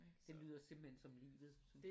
Det lyder simpelthen som livet